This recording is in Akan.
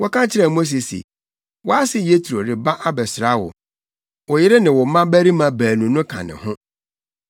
Wɔka kyerɛɛ Mose se, “Wʼase Yetro reba abɛsra wo. Wo yere ne wo mmabarima baanu no ka ne ho.”